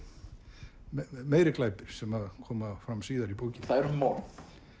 meiri glæpir sem koma fram síðar í bókinni það eru morð